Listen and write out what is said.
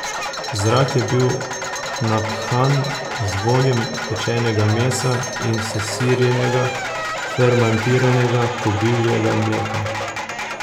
Zrak je bil naphan z vonjem pečenega mesa in sesirjenega, fermentiranega kobiljega mleka.